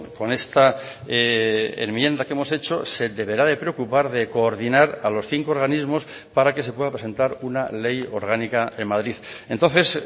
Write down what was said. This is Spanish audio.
con esta enmienda que hemos hecho se deberá de preocupar de coordinar a los cinco organismos para que se pueda presentar una ley orgánica en madrid entonces